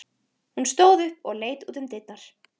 Hún stóð upp og leit út um dyrnar.